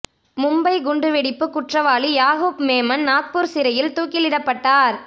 மும்பை குண்டு வெடிப்பு குற்றவாளி யாகூப் மேமன் நாக்பூர் சிறையில் தூக்கிலிடப்பட்டார்